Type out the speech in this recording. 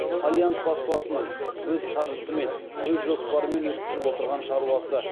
фолиант баспасының өз қаржысымен өз жоспарымен өткізіп отырған шаруасы